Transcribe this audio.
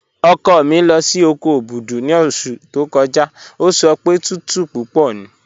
Ọkọ mi lọ sí oko Obudu ni ọṣù tó kọ́jà, o sọ pé tùtù púpọ̀ ní